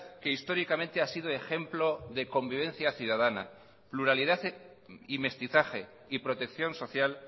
que históricamente ha sido ejemplo de convivencia ciudadana pluralidad y mestizaje y protección social